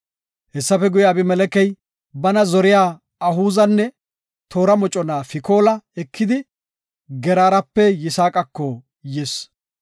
Hessafe guye, Abimelekey bana zoriya Ahuzanne toora mocona Fikoola ekidi, Geraarape Yisaaqako yis.